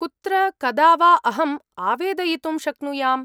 कुत्र कदा वा अहम् आवेदयितुं शक्नुयाम्?